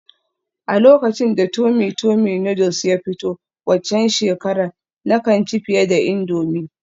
A lokacin da tummy tummy noodles ya fito waccan shekarar, na kan ci fiye da indomie